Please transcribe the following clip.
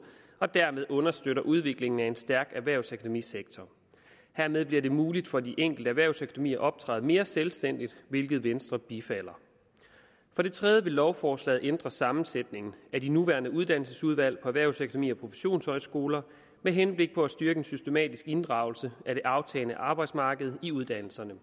og dermed understøtter udviklingen af en stærk erhvervsakademisektor hermed bliver det muligt for de enkelte erhvervsakademier at optræde mere selvstændigt hvilket venstre bifalder for det tredje vil lovforslaget ændre sammensætningen af de nuværende uddannelsesudvalg på erhvervsakademier og professionshøjskoler med henblik på at styrke en systematisk inddragelse af det aftagende arbejdsmarked i uddannelserne